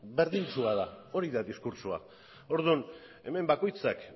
berdintsua da hori da diskurtsoa orduan hemen bakoitzak